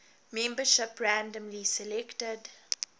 membership randomly selected